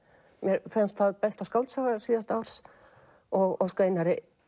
mér finnst það besta skáldsaga síðasta árs og óska Einari